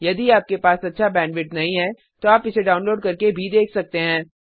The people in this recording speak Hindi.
यदि आपके पास अच्छा बैंडविड्थ नहीं है तो आप इसे डाउनलोड करके देख सकते हैं